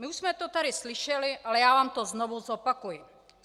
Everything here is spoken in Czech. My už jsme to tady slyšeli, ale já vám to znovu zopakuji.